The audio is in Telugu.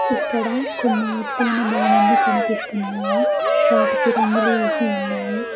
ఇక్కడ కొన్ని ఎతైన భవనములు కనిపిస్తున్నాయి వాటికీ రంగులు వేసి ఉన్నాయి.